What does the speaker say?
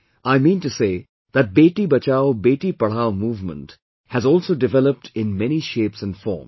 I mean to say that 'Beti Bachao Beti Padhao' movement has also developed in many shapes and forms